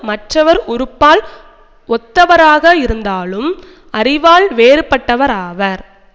மற்றவர் உறுப்பால் ஒத்தவராக இருந்தாலும் அறிவால் வேறுபட்டவர் ஆவார்